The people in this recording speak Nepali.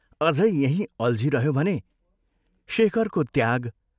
अझै यहीं अल्झिरह्यो भने शेखरको त्याग,